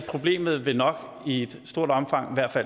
problemet nok i et stort omfang